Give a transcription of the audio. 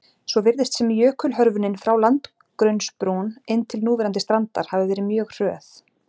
Svo virðist sem jökulhörfunin frá landgrunnsbrún inn til núverandi strandar hafi verið mjög hröð.